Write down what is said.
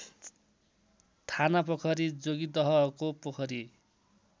थानापोखरी जोगिदहको पोखरी